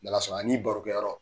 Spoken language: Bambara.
N'ala sɔnna a n'i barokɛ yɔrɔ